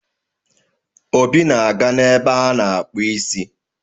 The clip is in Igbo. Obi na-aga n'ebe a-na akpuụ isi.